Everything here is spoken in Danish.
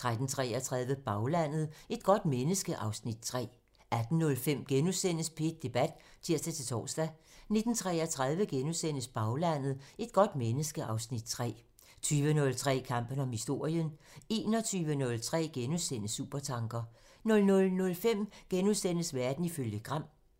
13:33: Baglandet: Et godt menneske (Afs. 3) 18:05: P1 Debat *(tir-tor) 19:33: Baglandet: Et godt menneske (Afs. 3)* 20:03: Kampen om historien (tir) 21:03: Supertanker *(tir) 00:05: Verden ifølge Gram *(tir)